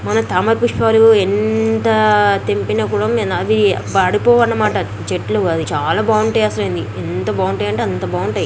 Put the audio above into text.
మన తామర పుష్పాలు ఎంత తెంపిన కూడా మినాబీ వాడిపోవన్నమాట చెట్లు అవి. చాలా బాగుంటాయి అసలు ఎంత బాగున్నాటాయి అంటే అంత బాగుంటాయి.